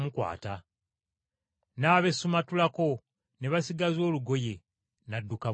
n’abeesumattulako, ne basigaza olugoye n’adduka bwereere.